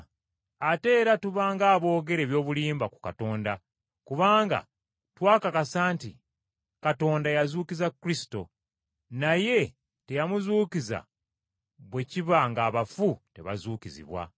Ate era tuba ng’aboogera eby’obulimba ku Katonda, kubanga twakakasa nti Katonda yazuukiza Kristo. Naye teyamuzuukiza bwe kiba ng’abafu tebazuukizibwa.